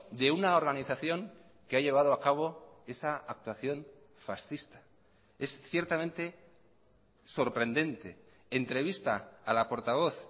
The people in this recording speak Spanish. de una organización que ha llevado a cabo esa actuación fascista es ciertamente sorprendente entrevista a la portavoz